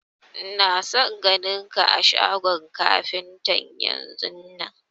Ina son ganin ka a shagon kafintan yanzun!